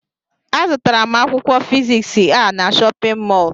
Azụtara m Akwụkwọ fiziks a n'shóppin mol